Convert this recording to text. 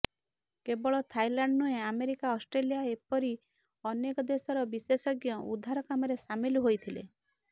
କେବଳ ଥାଇଲାଣ୍ଡ ନୁହେଁ America Australia ଏପରି ଅନେକ ଦେଶର ବିଶେଷଜ୍ଞ ଉଦ୍ଧାର କାମରେ ସାମିଲ ହୋଇଥିଲେ